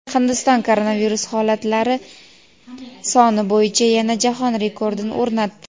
Hindiston koronavirus holatlari soni bo‘yicha yana jahon rekordini o‘rnatdi.